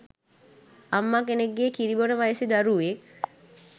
අම්ම කෙනෙක්ගෙන් කිරි බොන වයසෙ දරුවෙක්